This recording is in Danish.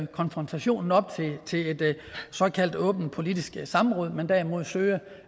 konfrontationen op til et såkaldt åbent politisk samråd men derimod søge